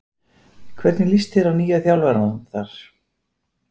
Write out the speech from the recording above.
Hvernig lýst þér á nýja þjálfarann þar?